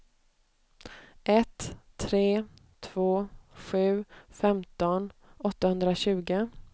ett tre två sju femton åttahundratjugo